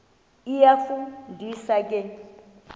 iyafu ndisa ke